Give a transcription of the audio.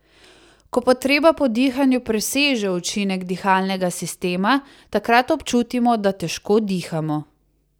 Ko potreba po dihanju preseže učinek dihalnega sistema, takrat občutimo, da težko dihamo.